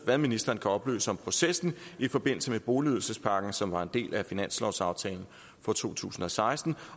hvad ministeren kan oplyse om processen i forbindelse med boligydelsespakken som var en del af finanslovsaftalen for to tusind og seksten